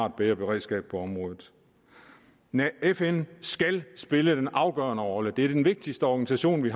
et bedre beredskab på området fn skal spille den afgørende rolle det er den vigtigste organisation vi